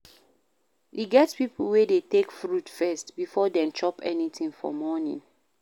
E get pipo wey dey take fruit first before dem chop anything for morning